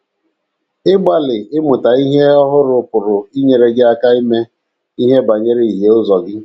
Ịgbalị ịmụta ihe ndị ọhụrụ pụrụ inyere gị aka ime ihe banyere ihie ụzọ gị